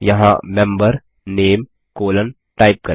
यहाँ member name colon type करें